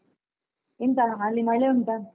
ಎಂತ ಅಲ್ಲಿ ಮಳೆ ಉಂಟಾ?